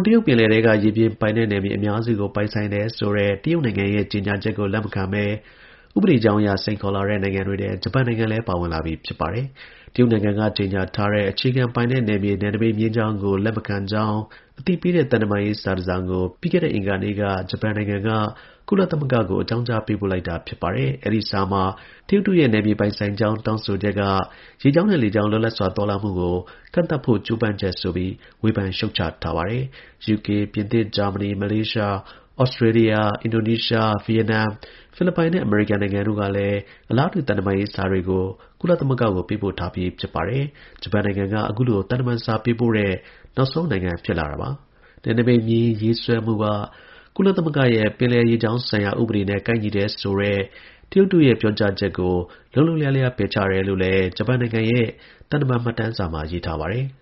်တရုတ်ပင်လယ်ထဲက ရေပြင်ပိုင်နက်နယ်မြေ အများစုကို ပိုင်ဆိုင်တယ်ဆိုတဲ့ တရုတ်နိုင်ငံရဲ့ ကြေညာချက်ကို လက်မခံဘဲ ဥပဒေကြောင်းအရ စိန်ခေါ်လာတဲ့ နိုင်ငံတွေထဲ ဂျပန်နိုင်ငံလည်း ပါဝင်လာပြီ ဖြစ်ပါတယ်။ တရုတ်နိုင်ငံက ကြေညာထားတဲ့ အခြေခံပိုင်နက်နယ်မြေ နယ်နိမိတ် မျဉ်းကြောင်းကို လက်မခံကြောင်း အသိပေးတဲ့ သံတမန်ရေး စာတစောင်ကို ပြီးခဲ့တဲ့အင်္ဂါနေ့က ဂျပန်နိုင်ငံက ကုလသမဂ္ဂကို အကြောင်းကြား ပေးပို့လိုက်တာပါ။ အဲဒီစာမှာ တရုတ်တို့ရဲ့ နယ်မြေပိုင်ဆိုင်ကြောင်း တောင်းဆိုချက်က ရေကြောင်းနဲ့ လေကြောင်း လွတ်လပ်စွာ သွားလာမှုကို ကန့်သတ်ဖို့ ကြိုးပမ်းချက်ဆိုပြီး ဝေဖန်ရှုတ်ချထားပါတယ်။ ယူကေ၊ ပြင်သစ်၊ ဂျာမနီ၊ မလေးရှား၊ ဩစတြေးလျ၊ အင်ဒိုနီးရှား၊ ဗီယက်နမ်၊ ဖိလစ်ပိုင်နဲ့ အမေရိကန်တို့ကလည်း အလားတူ သံတမန်ရေးစာတွေကို ကုလသမဂ္ဂကို ပေးပို့ထားပြီး ဖြစ်ပါတယ်။ ဂျပန်နိုင်ငံက အခုလို သံတမန်စာ ပေးပို့တဲ့ နောက်ဆုံးနိုင်ငံ ဖြစ်လာတာပါ။ နယ်နိမိတ်မျဉ်းရေးဆွဲမှုက ကုလသမဂ္ဂရဲ့ ပင်လယ်ရေကြောင်းဆိုင်ရာ ဥပဒေနဲ့ ကိုက်ညီတယ်ဆိုတဲ့ တရုတ်တို့ရဲ့ ပြောကြားချက်ကို ဂျပန်နိုင်ငံက လုံးလုံးလျားလျား ပယ်ချတယ်လို့လည်း ဂျပန်နိုင်ငံရဲ့ သံတမန်မှတ်တမ်းစာမှာ ရေးထားပါတယ်။